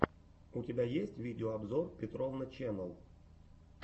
у тебя есть видеообзор петровна ченнэл